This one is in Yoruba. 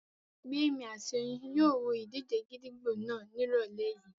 Gbémi àti Oyin yóò wo ìdíje gídígbò náà ní ìrọ̀lẹ́ yìí